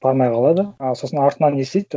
бармай қалады ы сосын артынан не істейді